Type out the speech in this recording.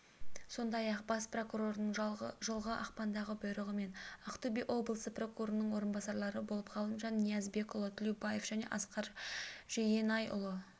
сондай-ақ бас прокурордың жылғы ақпандағы бұйрығымен ақтөбе облысы прокурорының орынбасарлары болып ғалымжан ниязбекұлы тлеубаев және асқар жейенайұлы